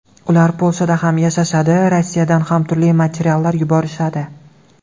Ular Polshada ham yashashadi, Rossiyadan ham turli materiallar yuborishadi.